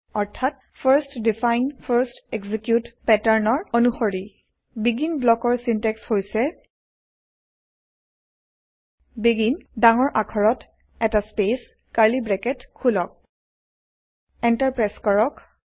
অৰ্থাৎ first define first execute পেটাৰ্নৰ অণুসৰি বেগিন ব্লকৰ চিনটেক্স হৈছে বেগিন ডাঙৰ আখৰত এটা স্পেচ কাৰ্লী ব্ৰেকেট খোলক এন্টাৰ প্ৰেছ কৰক